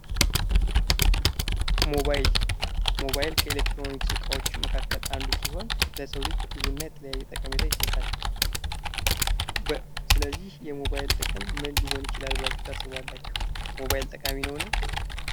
ሞባይል ከኤሌክትሮኒክስ እቃዎች መካከል አንዱ ሲሆን ለሰው ልጅ ብዙ እና የተለያየ ጠቀሜታ ይሰጣል። ስለዚህ የሞባይል ጥቅም ምን ሊሆን ይችላል? ሞባይል ጠቃሚ ነውን?